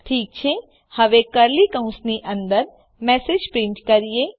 ઠીક છે હવે કર્લી કૌંસની અંદર મેસેજ પ્રીંટ કરીએ